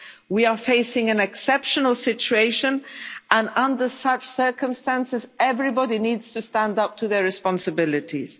usual. We are facing an exceptional situation, and under such circumstances everybody needs to stand up to their responsibilities.